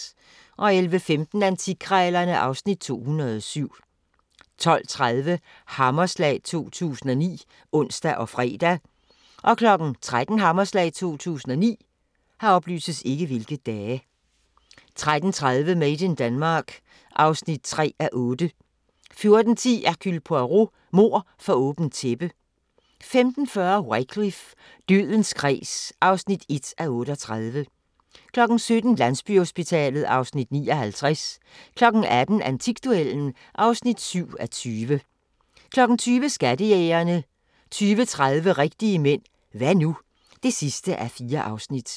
11:15: Antikkrejlerne (Afs. 207) 12:30: Hammerslag 2009 (ons og fre) 13:00: Hammerslag 2009 13:30: Made in Denmark (3:8) 14:10: Hercule Poirot: Mord for åbent tæppe 15:40: Wycliffe: Dødens kreds (1:38) 17:00: Landsbyhospitalet (Afs. 59) 18:00: Antikduellen (7:20) 20:00: Skattejægerne 20:30: Rigtige mænd – hva' nu? (4:4)